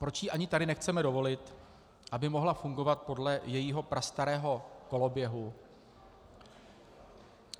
Proč jí ani tady nechceme dovolit, aby mohla fungovat podle jejího prastarého koloběhu?